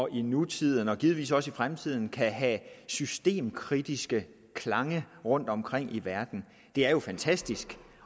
i nutiden og givetvis også i fremtiden kan have systemkritiske klange rundtomkring i verden er jo fantastisk